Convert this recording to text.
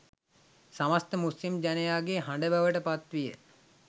සමස්ථ මුස්ලිම් ජනයාගේ හඬ බවට පත්විය